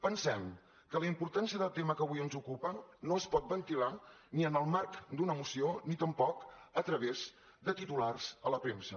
pensem que la importància del tema que avui ens ocupa no es pot ventilar ni en el marc d’una moció ni tampoc a través de titulars a la premsa